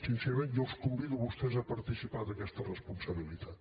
sincerament jo els convido a vostès a participar d’aquesta responsabilitat